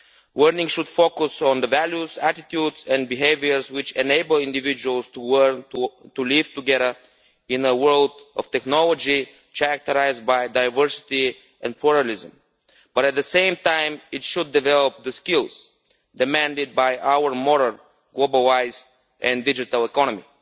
Learning should focus on the values, attitudes and behaviours which enable individuals to live together in a world of technology, characterised by diversity and pluralism. But at the same time, it should develop the skills demanded by our moral, globalised and digital economy.